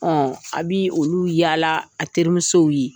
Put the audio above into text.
Ɔ a bɛ olu yaala a teriremiw ye